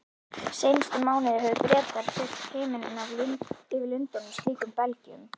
Seinustu mánuði höfðu Bretar fyllt himininn yfir Lundúnum slíkum belgjum.